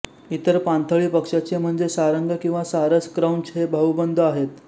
इतर पाणथळी पक्ष्याचे म्हणजे सारंग किंवा सारस क्रौंच हे भाउबंद आहेत